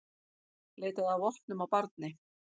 Leitaði að vopnum á barni